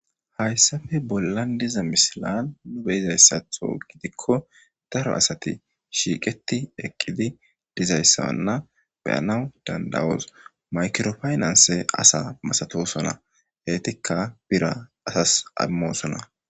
Hayssafe bollan diza misilan nu beyizayssatho gidikko daro asati shiiqeti eqqidi dizayssawanna beyanaw dandawos makirofaynanse asa masatosonna heytikka bira asas ammosona.